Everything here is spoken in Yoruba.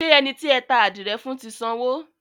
Ṣé ẹni tí ẹ ta àdìrẹ fún ti sanwó?